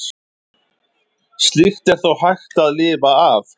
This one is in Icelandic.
Slíkt er þó hægt að lifa af.